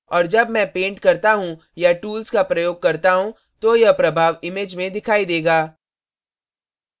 और जब मैं paint करता हूँ या tools का प्रयोग करता हूँ तो यह प्रभाव image में दिखाई देगा